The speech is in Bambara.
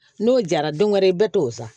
N'o jara don wɛrɛ i bɛ t'o san